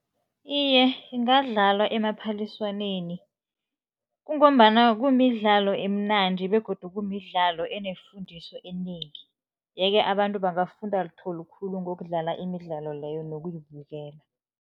Iye, ingadlalwa emaphaliswaneni. Kungombana kumidlalo emnandi begodu kumidlalo enefundiso enengi, yeke abantu bangafunda litho likhulu ngokudlala imidlalo leyo nokuyibukela.